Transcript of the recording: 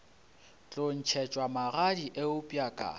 tlo ntšhetšwa magadi eupša ka